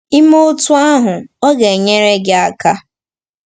I mee otú ahụ, ọ ga-enyere gị aka.